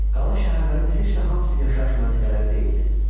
Qala şəhərlərin heç də hamısı yaşayış məntəqələri deyildi.